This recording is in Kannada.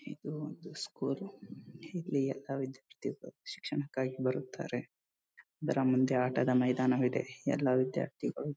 ಇದು ಒಂದು ಸ್ಕೂಲ್ ಇಲ್ಲಿ ಎಲ್ಲ ವಿದ್ಯಾರ್ಥಿಗಳು ಶಿಕ್ಷಣಕ್ಕಾಗಿ ಬರುತ್ತಾರೆ ಇದರ ಮುಂದೆ ಆಟದ ಮೈದಾನ ಇದೆ ಎಲ್ಲ ವಿದ್ಯಾರ್ಥಿಗಳು--